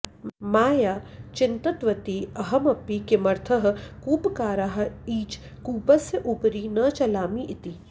माया चिन्तितवती अहमपि किमर्थं कूपकाराः इच कूपस्य उपरि न चलामि इति